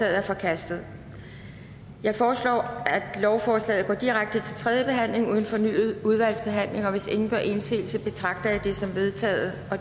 er forkastet jeg foreslår at lovforslaget går direkte til tredje behandling uden fornyet udvalgsbehandling hvis ingen gør indsigelse betragter jeg det som vedtaget